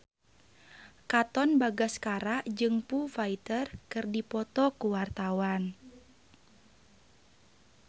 Katon Bagaskara jeung Foo Fighter keur dipoto ku wartawan